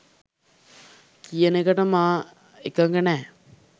කියන එකට මා එකඟ නෑ